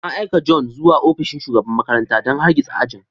An aika John zuwa ofishin shugaban makarantar don hargitsa ajin.